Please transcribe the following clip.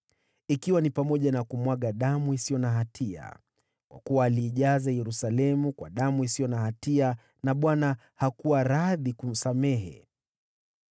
ikiwa ni pamoja na kumwaga damu isiyo na hatia. Kwa kuwa aliijaza Yerusalemu kwa damu isiyo na hatia, naye Bwana hakuwa radhi kusamehe.